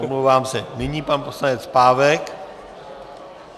Omlouvám se, nyní pan poslanec Pávek.